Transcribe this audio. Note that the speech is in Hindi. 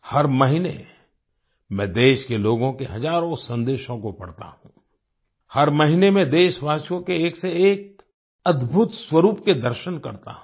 हर महीने में देश के लोगों के हजारों संदेशों को पढता हूँ हर महीने में देशवासियों के एक से एक अद्भुत स्वरूप के दर्शन करता हूँ